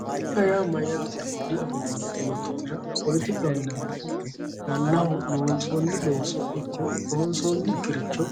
politikaho yaa mayyaatero diafoommo yoottotera mannaho Babbaxxino looso ikko loonsoonnikkiricho